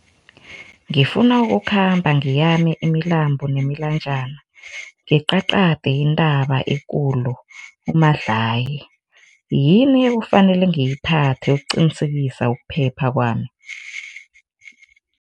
Ngifuna ukukhamba ngeyami imilambo nemilanjana, nqiqaqade intaba uMadlayi, yini kufanele ngiyiphatha ukuqinisekisa ukuphepha kwami?